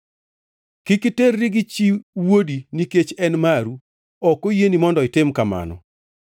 “ ‘Kik iterri gi chi wuodi nikech en maru, ok oyieni mondo itim kamano.